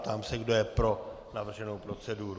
Ptám se, kdo je pro navrženou proceduru.